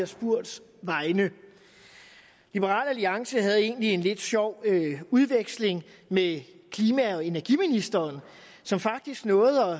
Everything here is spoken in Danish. spurgt liberal alliance havde egentlig en lidt sjov udveksling med klima og energiministeren som faktisk nåede